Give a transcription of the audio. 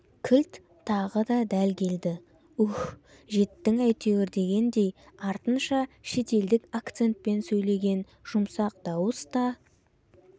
кілт тағы да дәл келді уһ жеттің әйтеуір дегендей артынша шетелдік акцентпен сөйлеген жұмсақ дауыс та